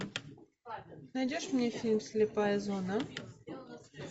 найдешь мне фильм слепая зона